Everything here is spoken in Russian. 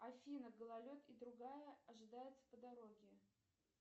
афина гололед и другая ожидается по дороге